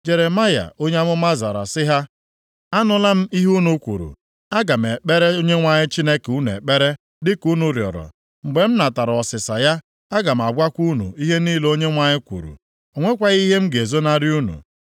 Jeremaya onye amụma zara sị ha, “Anụla m ihe unu kwuru. Aga m ekpere Onyenwe anyị Chineke unu ekpere dịka unu rịọrọ. Mgbe m natara ọsịsa ya, aga m agwakwa unu ihe niile Onyenwe anyị kwuru. O nwekwaghị ihe m ga-ezonarị unu.”